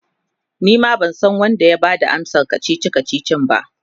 Nima bansan Wanda ya Bada amsan kachichi kachichin ba